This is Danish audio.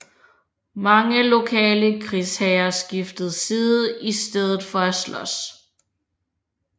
Mange lokale krigsherrer skiftede side i stedet for at slås